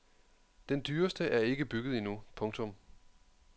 Den dyreste er ikke bygget endnu. punktum